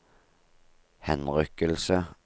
henrykkelse